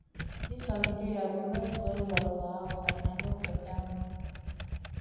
dis holiday i go rest wellwell for house as my doctor tell me